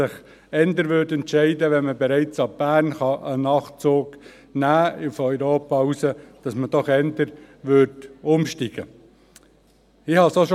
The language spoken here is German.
Wenn man bereits ab Bern einen Nachtzug hinaus nach Europa nehmen könnte, würde man sich eher für einen Umstieg entscheiden.